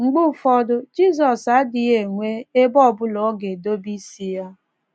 Mgbe ụfọdụ, Jizọs adịghị enwe “ ebe ọ bụla ọ ga-edobe isi ya. ”